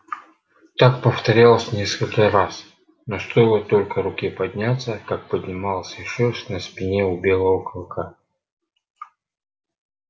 так повторилось несколько раз но стоило только руке подняться как поднималась и шерсть на спине у белого кыка